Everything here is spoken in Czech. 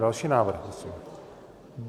Další návrh, prosím.